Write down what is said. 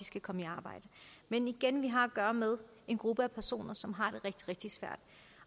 skal komme i arbejde men igen har vi at gøre med en gruppe af personer som har